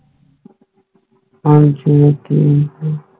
ਹਾਂ ਜੀ ਮੈਂ ਕਿ ਕਹਾ